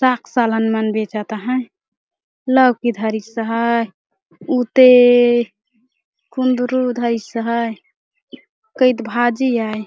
साग सालन मन बचत है लौकी धरिस है उ ते कुंदरू धरिस है कईत भाजी आय ।